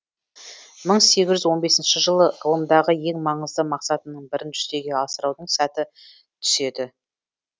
мың сегіз жүз он бесінші жылы ғылымдағы ең маңызды мақсатының бірін жүзеге асырудың сәті түседі